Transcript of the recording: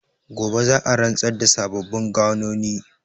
Gobe za a rantsar da sababbin gwanoni.